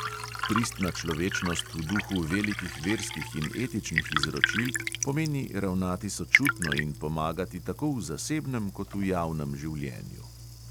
Pristna človečnost v duhu velikih verskih in etičnih izročil pomeni ravnati sočutno in pomagati tako v zasebnem kot v javnem življenju.